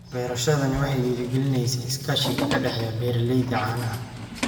Beerashadani waxay dhiirigelinaysaa iskaashiga ka dhexeeya beeralayda caanaha.